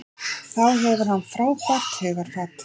Þá hefur hann frábært hugarfar.